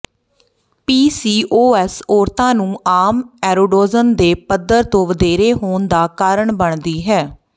PCOS ਔਰਤਾਂ ਨੂੰ ਆਮ ਐਰੋਡੋਜਨ ਦੇ ਪੱਧਰ ਤੋਂ ਵਧੇਰੇ ਹੋਣ ਦਾ ਕਾਰਨ ਬਣਦੀ ਹੈ